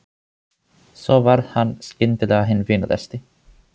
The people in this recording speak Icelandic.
Svo varð hann skyndilega hinn vinalegasti.